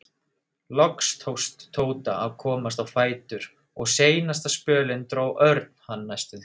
Loks tókst Tóta að komast á fætur og seinasta spölinn dró Örn hann næstum því.